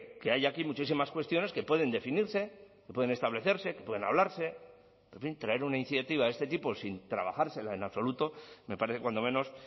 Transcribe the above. que hay aquí muchísimas cuestiones que pueden definirse que pueden establecerse que pueden hablarse en fin traer una iniciativa de este tipo sin trabajársela en absoluto me parece cuando menos